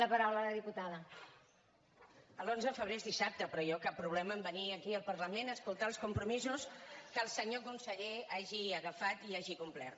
l’onze de febrer és dissabte però jo cap problema en venir aquí al parlament a escoltar els compromisos que el senyor conseller hagi agafat i hagi complert